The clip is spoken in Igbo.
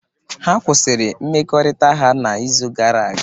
Ha kwụsịrị mmekọrịta ha n'izu gara aga.